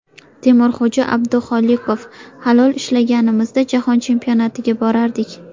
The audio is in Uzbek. Temurxo‘ja Abduxoliqov: Halol ishlaganimizda, Jahon Chempionatiga borardik.